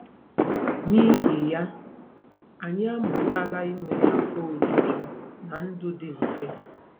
N'ihi ya, anyị amụtala inwe afọ ojuju na ndụ dị mfe.